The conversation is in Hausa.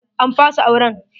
An fasa auren.